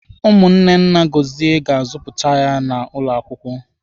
Ụmụnne nna Gọzie ga-azụchapuzi ya n'ụlọ akwụkwọ.